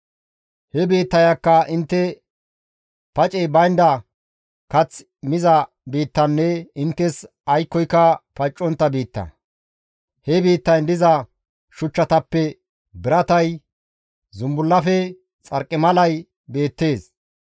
He biittayakka intte pacey baynda kath miza biittanne inttes aykkoyka paccontta biitta; he biittayn diza shuchchatappe biratay, zumbullafe xarqimalay beettees.